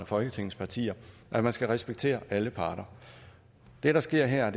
folketingets partier at man skal respektere alle parter det der sker her er